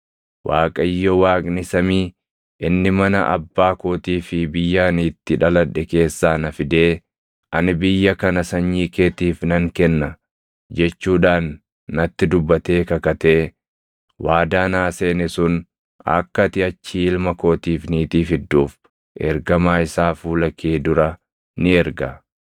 Waaqayyo Waaqni samii inni mana abbaa kootii fi biyya ani itti dhaladhe keessaa na fidee, ‘Ani biyya kana sanyii keetiif nan kenna’ jechuudhaan natti dubbatee kakatee waadaa naa seene sun akka ati achii ilma kootiif niitii fidduuf ergamaa isaa fuula kee dura ni erga.